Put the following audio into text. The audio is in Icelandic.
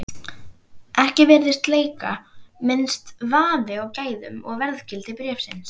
Ekki virðist leika minnsti vafi á gæðum og verðgildi bréfsins.